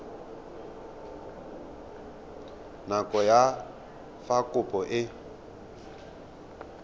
nako ya fa kopo e